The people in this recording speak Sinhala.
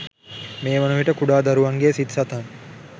මේ වන විට කුඩා දරුවන්ගේ සිත් සතන්